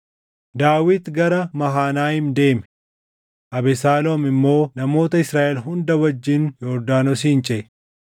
Daawit gara Mahanayiim deeme; Abesaaloom immoo namoota Israaʼel hunda wajjin Yordaanosin ceʼe.